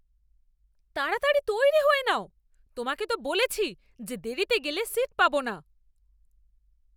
তাড়াতাড়ি তৈরি হয়ে নাও! তোমাকে তো বলেছি যে দেরিতে গেলে সীট পাবো না।